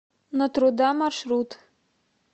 на труда маршрут